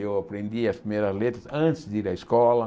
Eu aprendi as primeiras letras antes de ir à escola.